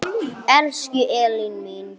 Elsku Elín mín.